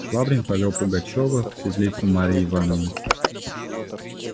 швабрин повёл пугачёва в светлицу марьи ивановны